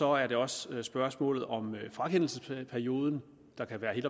er det også spørgsmålet om frakendelsesperioden der kan være helt